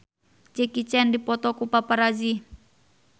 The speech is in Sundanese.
Jackie Chan dipoto ku paparazi